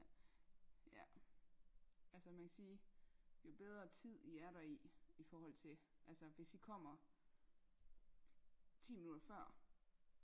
ja altså man kan sige jo bedre tid i er der i i forhold til altså hvis I kommer ti minutter før